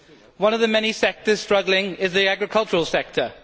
One of the many sectors struggling is the agricultural sector.